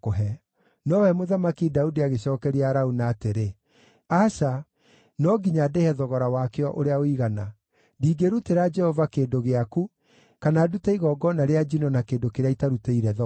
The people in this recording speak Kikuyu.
Nowe Mũthamaki Daudi agĩcookeria Arauna atĩrĩ, “Aca, no nginya ndĩhe thogora wakĩo ũrĩa ũigana. Ndingĩrutĩra Jehova kĩndũ gĩaku, kana ndute igongona rĩa njino na kĩndũ kĩrĩa itarutĩire thogora.”